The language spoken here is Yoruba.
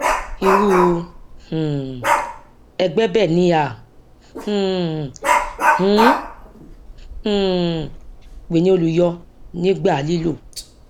irú um ẹgbẹ bẹẹ ni à um ń um pè ní olùyọ nígbà lílò